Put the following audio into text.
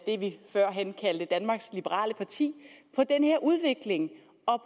det vi førhen kaldte danmarks liberale parti på den her udvikling